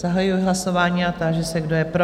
Zahajuji hlasování a táži se, kdo je pro?